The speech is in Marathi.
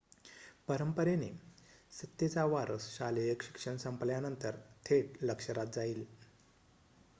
परंपरेने सत्तेचा वारस शालेय शिक्षण संपल्यानंतर थेट लष्करात जाईल